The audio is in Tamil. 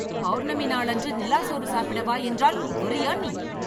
பௌர்ணமி நாள் அன்று நிலா சோறு சாப்பிட வா என்றால் வர்ரியா நீ